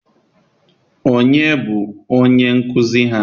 onye bụ onye nkuzi ha?